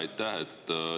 Aitäh!